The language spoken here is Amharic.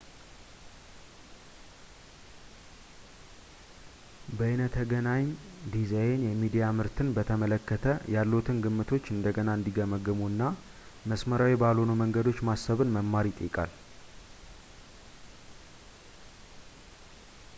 በይነተገናኝ ዲዛይን የሚዲያ ምርትን በተመለከተ ያለዎትን ግምቶች እንደገና እንዲገመግሙ እና መስመራዊ ባልሆኑ መንገዶች ማሰብን መማር ይጠይቃል